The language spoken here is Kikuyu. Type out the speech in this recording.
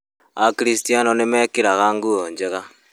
Akristiano nĩmekĩraga nguo njega